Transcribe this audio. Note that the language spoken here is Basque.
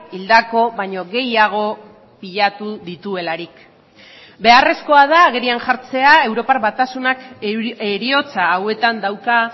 hildako baino gehiago pilatu dituelarik beharrezkoa da agerian jartzea europar batasunak heriotza hauetan dauka